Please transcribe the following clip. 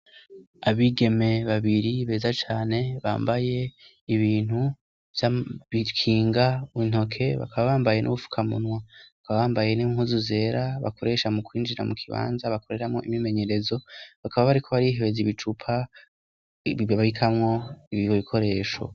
abigeme babiri beza cane bambaye ibintu bikinga bikinga intoke bakaba bambaye n'ubufukamunwa bakaba bambaye n'inpuzu zera bakoresha mu kwinjira mu kibanza bakoreramo imimenyerezo bakaba bariko bari hebeza ibicupa babikamwo bikoresho